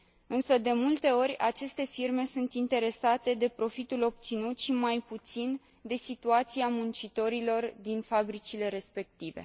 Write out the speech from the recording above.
Însă, de multe ori, aceste firme sunt interesate de profitul obținut și mai puțin de situația muncitorilor din fabricile respective.